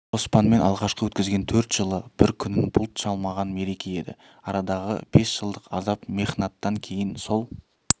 қоспанмен алғашқы өткізген төрт жылы бір күнін бұлт шалмаған мереке еді арадағы бес жылдық азап мехнаттан кейін сол